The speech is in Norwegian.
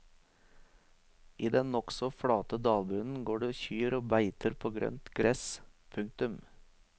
I den nokså flate dalbunnen går det kyr og beiter på grønt gress. punktum